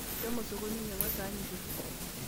Shomo sokoni inyang'u esahani kiti.